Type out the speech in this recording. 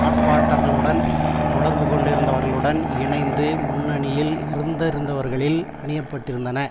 ஆர்ப்பாட்டர்களுடன் தொடர்பு கொண்டிருந்தவர்களுடன் இணைந்து முன்னணியில் இருந்திருந்தவர்களி ல் அணியப்பட்டிருந்தன